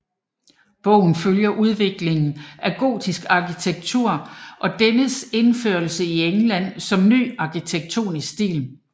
Bogen følger udviklingen af gotisk arkitektur og dennes indførelse i England som ny arkitektonisk stil